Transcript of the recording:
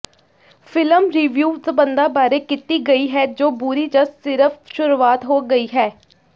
film review ਸਬੰਧਾਂ ਬਾਰੇ ਕੀਤੀ ਗਈ ਹੈ ਜੋ ਬੁਰੀ ਜਾਂ ਸਿਰਫ ਸ਼ੁਰੂਆਤ ਹੋ ਗਈ ਹੈ